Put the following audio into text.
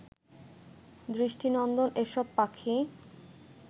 দৃষ্টিনন্দন এসব পাখি